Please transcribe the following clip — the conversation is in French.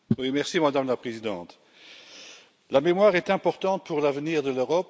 Madame la Présidente, la mémoire est importante pour l'avenir de l'Europe.